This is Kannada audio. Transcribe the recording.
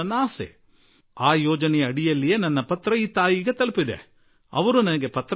ಆ ಕಾರ್ಯಕ್ರಮದ ಅಡಿಯಲ್ಲೇ ಈ ಪತ್ರ ಆ ತಾಯಿಯ ಕೈ ಸೇರಿತು